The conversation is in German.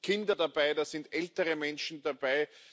Da sind Kinder dabei, da sind ältere Menschen dabei.